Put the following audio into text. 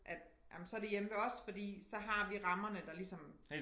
At ej men så det hjemme ved os fordi så har vi rammerne der ligesom